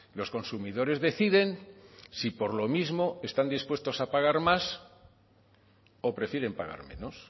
los consumidores deciden si por lo mismo están dispuestos a pagar más o prefieren pagar menos